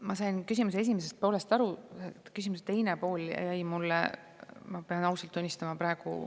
Ma sain küsimuse esimesest poolest aru, küsimuse teine pool jäi mulle, ma pean ausalt tunnistama.